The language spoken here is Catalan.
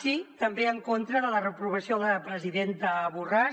sí també en contra de la reprovació a la presidenta borràs